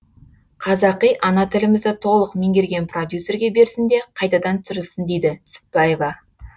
қазақи ана тілімізді толық меңгерген продюсерге берсін де қайтадан түсірілсін дейді түсіпбаева